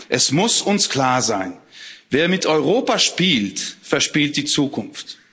Es muss uns klar sein Wer mit Europa spielt, verspielt die Zukunft.